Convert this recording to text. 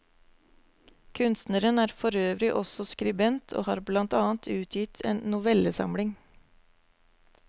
Kunstneren er forøvrig også skribent og har blant annet utgitt en novellesamling.